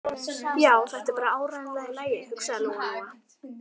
Já, þetta er bara áreiðanlega í lagi, hugsaði Lóa Lóa.